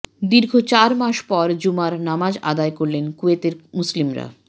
দীর্ঘ চার মাস পর জুমার নামাজ আদায় করলেন কুয়েতের মুসল্লিরা